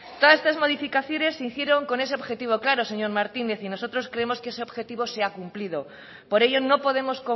todas estas modificaciones se hicieron con ese objetivo claro señor martínez y nosotros creemos que ese objetivo se ha cumplido por ello no podemos